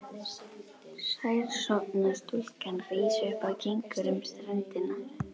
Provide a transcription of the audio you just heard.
Sæsorfna stúlkan rís upp og gengur um ströndina.